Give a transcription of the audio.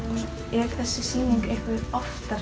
er þessi sýning eitthvað oftar